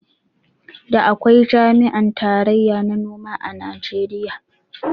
Da akwai jami'an tarayya na noma a Najeriya